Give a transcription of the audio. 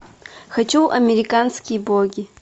хочу американские боги